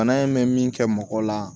Bana in mɛ min kɛ mɔgɔ la